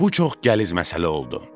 Bu çox gəliz məsələ oldu.